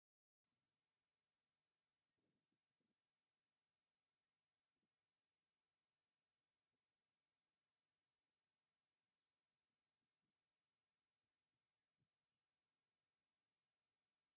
ዋው ደስ ክብል ኣዝዩ ንዓይንካ ስሓብን ውቅብ ዝኮነ ዓይነት መርዓ ኮይኑ ብዝተፈላለዩ ዓይነታተ ሃሪ ዝተሰርሑ ታንቴላት ዝተሸፈኑ እንታይ ይብሃሉ ?